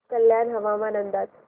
कल्याण हवामान अंदाज